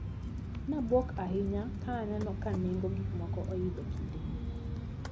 Nabuok ahinya kananeno ka nengo gikmoko oidho kinde ni.